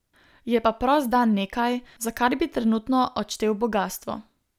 Je pa prost dan nekaj, za kar bi trenutno odštel bogastvo.